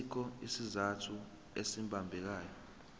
asikho isizathu esibambekayo